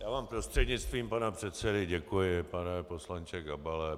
Já vám prostřednictvím pana předsedy děkuji, pane poslanče Gabale.